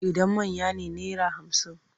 Idan manya ne naira hamsin.